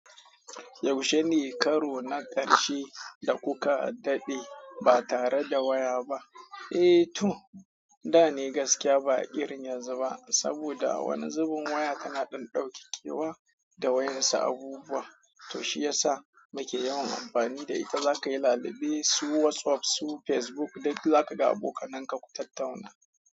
Yaushe ne karo na ƙarshe da kuka daɗe ba tare da waya ba? Eh to, da ne gaskiya ba a irin yanzu ba saboda wani zubin waya kana ɗan ɗauke kewa da wayansu abubuwa. To shi yasa muke yawan amfani da ita. Za ka yi lallube, su WhatsApp, su Facebook, duk za ka ga abokanan ka ku tattauna.